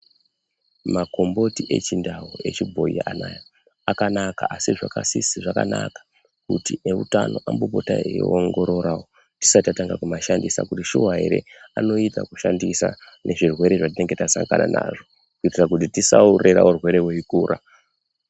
Makomboti echibhoyi echindau anaa akanaka asi zvakanaka kuti ambotanga kuaongorora kuti shuwa ere anoita kushandisa muzvirwere zvatinenge tasangana nazvo kuitira kuti tisarera urwere hweikura.